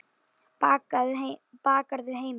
Bakarðu heima?